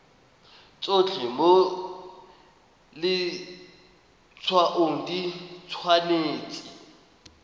tsotlhe mo letshwaong di tshwanetse